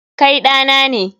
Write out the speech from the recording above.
Kai ɗa na ne.